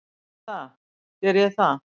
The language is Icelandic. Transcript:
Er það, geri ég það?